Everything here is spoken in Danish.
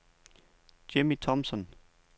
Jimmi Thomsen